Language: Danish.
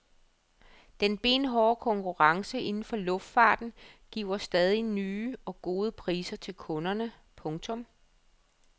Den benhårde konkurrence inden for luftfarten giver stadig nye og gode priser til kunderne. punktum